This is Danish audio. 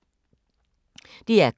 DR K